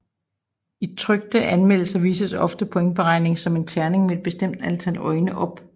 I trykte anmeldelser vises ofte pointberegningen som en terning med et bestemt antal øjne op